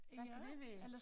Hvad kan det være